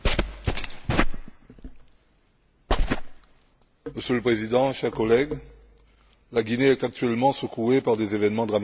Monsieur le Président, chers collègues, la Guinée est actuellement secouée par des événements dramatiques qui choquent l'opinion internationale et bafouent le droit.